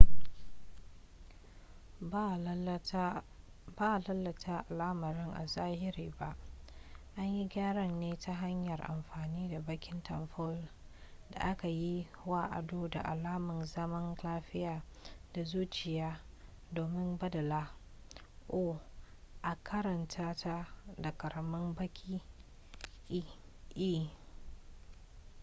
ba a lalata alamar a zahiri ba an yi gyaran ne ta hanyar amfani da bakin tamfol da aka yi wa ado da alamun zaman lafiya da zuciya domin baddala o a karanta ta da ƙaramin baki e